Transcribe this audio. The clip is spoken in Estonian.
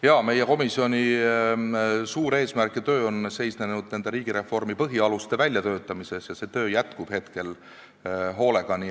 Jaa, meie komisjoni suur eesmärk ja töö on seisnenud riigireformi põhialuste väljatöötamises ja see töö käib praegu hooga.